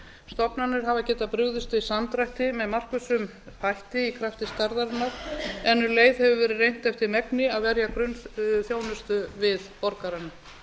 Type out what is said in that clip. stofnanir hafa getað brugðist við samdrætti með markvissum hætti í krafti stærðarinnar en um leið hefur verið reynt eftir megni að verja grunnþjónustu við borgarana